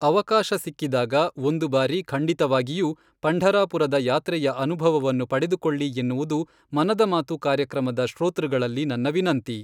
ಅವಕಾಶ ಸಿಕ್ಕಿದಾಗ ಒಂದು ಬಾರಿ ಖಂಡಿತವಾಗಿಯೂ ಪಂಢರಾಪುರದ ಯಾತ್ರೆಯ ಅನುಭವವನ್ನು ಪಡೆದುಕೊಳ್ಳಿ ಎನ್ನುವುದು ಮನದ ಮಾತು ಕಾರ್ಯಕ್ರಮದ ಶ್ರೋತೃಗಳಲ್ಲಿ ನನ್ನ ವಿನಂತಿ.